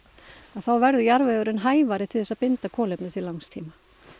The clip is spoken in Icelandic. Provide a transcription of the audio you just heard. þá verður jarðvegurinn hæfari til þess að binda kolefni til langs tíma